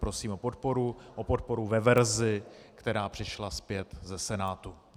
Prosím o podporu ve verzi, která přišla zpět ze Senátu.